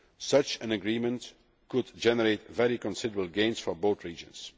Such an agreement could generate very considerable gains for both regions.